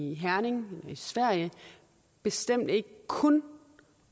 i herning og i sverige bestemt ikke kun